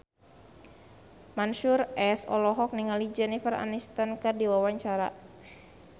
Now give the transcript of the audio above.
Mansyur S olohok ningali Jennifer Aniston keur diwawancara